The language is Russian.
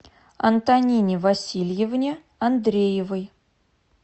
антонине васильевне андреевой